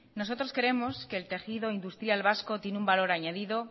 nosotros creemos que el tejido industrial vasco tiene un valor añadido